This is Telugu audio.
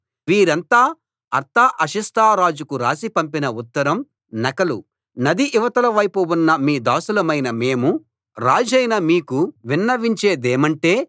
వీరంతా అర్తహషస్త రాజుకు రాసి పంపిన ఉత్తరం నకలు నది ఇవతల వైపు ఉన్న మీ దాసులమైన మేము రాజైన మీకు విన్నవించేదేమంటే